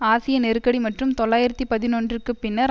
ஆசிய நெருக்கடி மற்றும் தொள்ளாயிரத்து பதினொன்று க்குப் பின்னர்